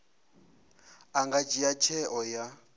a nga dzhia tsheo ya